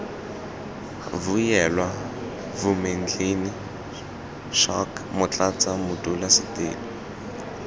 vuyelwa vumendlini schalk motlatsa modulasetulo